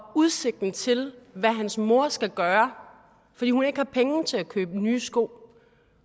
udsigten til hvad hans mor skal gøre fordi hun ikke har penge til at købe nye sko